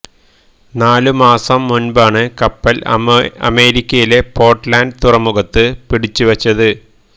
നാല് മാസം മുൻപാണ് കപ്പൽ അമേരിക്കയിലെ പോർട്ട്ലാന്റ് തുറമുഖത്ത് പിടിച്ചുവച്ചത്